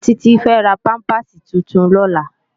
Titi fè rá pàmpásí tútún lòlá